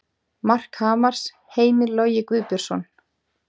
Mark Hamars: Heimir Logi Guðbjörnsson